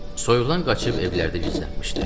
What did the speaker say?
Soyuqdan qaçıb evlərdə gizlənmişdi.